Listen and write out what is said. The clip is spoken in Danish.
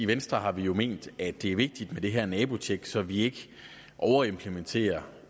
venstre har vi jo ment at det er vigtigt med det her nabotjek så vi ikke overimplementerer